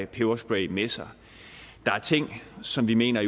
peberspray med sig der er ting som vi mener